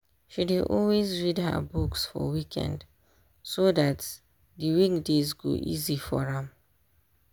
she dey always read her books for weekend so dat d weekdays go easy for am